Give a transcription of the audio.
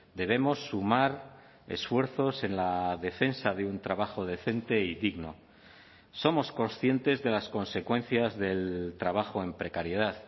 debemos sumar esfuerzos en la defensa de un trabajo decente y digno somos conscientes de las consecuencias del trabajo en precariedad